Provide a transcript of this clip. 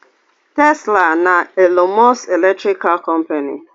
tesla na elon musk electric car company